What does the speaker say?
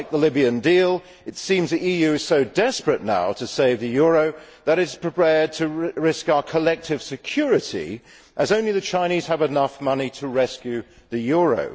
Just like the Libyan deal, it seems the EU is so desperate now to save the euro that it is prepared to risk our collective security, as only the Chinese have enough money to rescue the euro.